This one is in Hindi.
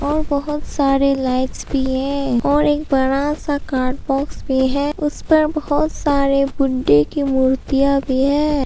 और बहुत सारे लाइट्स भी है और एक बड़ा सा कार्ड बॉक्स भी है। उसपे बहुत सारे बुड्ढे की मूर्तियां भी है।